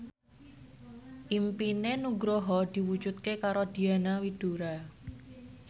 impine Nugroho diwujudke karo Diana Widoera